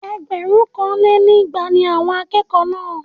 Ẹgbẹ̀rúnkanlénígba ni àwọn akẹ́kọ̀ọ́ náà